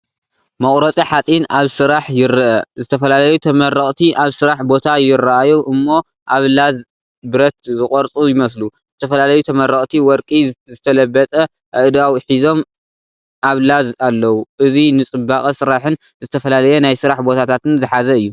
መቑረጺ ሓጺን ኣብ ስራሕ ይርአ። ዝተፈላለዩ ተመረቕቲ ኣብ ስራሕ ቦታ ይረኣዩ እሞ ኣብ ላዝ ብረት ዝቖርጹ ይመስሉ። ዝተፈላለዩ ተመረቕቲ ወርቂ ዝተለበጠ ኣእዳው ሒዞም ኣብ ላዝ ኣለዉ። እዚ ንጽባቐ ስራሕን ዝተፈላለየ ናይ ስራሕ ቦታታትን ዝሓዘ እዩ።